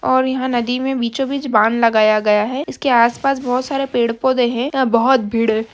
और यहाँ नदी में बीचो-बीच बान लगाया गया है इसके आस-पास बहोत सारे पेड़-पोधे हैं यहाँ बहोत भीड़ है।